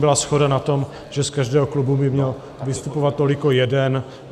Byla shoda na tom, že z každého klubu by měl vystupovat toliko jeden.